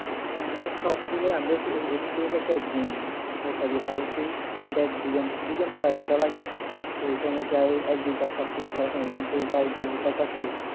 না মানে সব বিলে আমরা এখান থেকে যাইতে একদিন নৌকা দিয়ে পার হতে দেড় দুই দুই ঘণ্টা আড়াই ঘণ্টা লাগে তো ওখানে যেয়ে একদিনে তো আর সব কিছু করা এখান থেকে যাইবো কাজ করবো